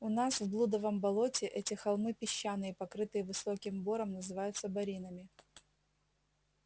у нас в блудовом болоте эти холмы песчаные покрытые высоким бором называются боринами